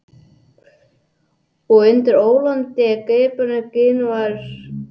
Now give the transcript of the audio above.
Og undir ólgandi yfirborði Gínu var nýtt barn byrjað vegferð.